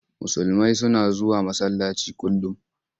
Musulmai suna zuwa masallaci kullum.